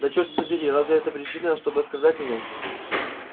да чёрт подери разве это причина чтобы оскорблять меня